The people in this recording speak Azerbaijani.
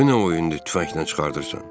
Bu nə oyundur tüfənglə çıxardırsan?